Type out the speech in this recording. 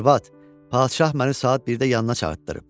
Arvad, padşah məni saat 1-də yanına çağırdırıb.